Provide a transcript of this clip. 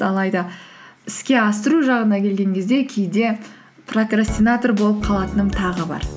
алайда іске асыру жағына келген кезде кейде прокрастинатор болып қалатыным тағы бар